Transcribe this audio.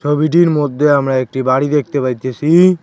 ছবিটির মধ্যে আমরা একটি বাড়ি দেখতে পাইতেছি।